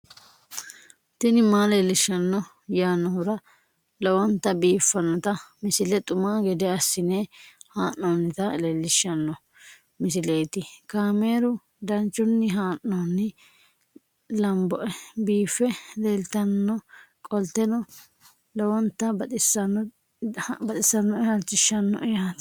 tini maa leelishshanno yaannohura lowonta biiffanota misile xuma gede assine haa'noonnita leellishshanno misileeti kaameru danchunni haa'noonni lamboe biiffe leeeltannoqolten lowonta baxissannoe halchishshanno yaate